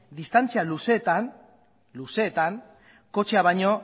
distantzia luzeetan kotxea bainoa